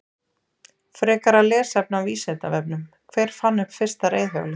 Frekara lesefni á Vísindavefnum: Hver fann upp fyrsta reiðhjólið?